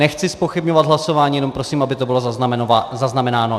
Nechci zpochybňovat hlasování, jenom prosím, aby to bylo zaznamenáno.